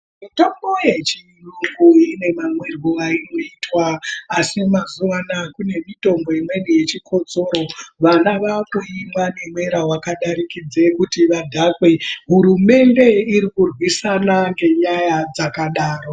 Mitombo yechiyungu ine mamwirwo ainoitwa asi mazuwa anaa kune mitombo imweni yechikotsoro, vana vakuimwa mumwire wakadarikidza kuti vadhakwe. Hurumende iri kurwisana ngenyaya dzakadaro.